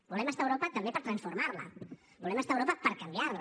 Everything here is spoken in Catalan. volem estar a europa també per transformar la volem estar a europa per canviar la